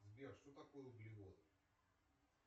сбер что такое углеводы